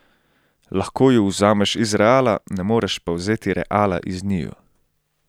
Lahko ju vzameš iz Reala, ne moreš pa vzeti Reala iz njiju!